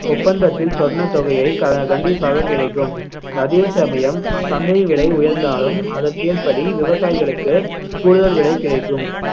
ஒப்பந்தத்தில் சொன்ன தொகையை க~ கண்டிப்பாக கிடைக்கும் அதே சமயம் அஹ் சந்தை விலை உயர்ந்தாலும் அதற்கேற்றபடி விவசாயிகளுக்கு கூடுதல் விலை கிடைக்கும்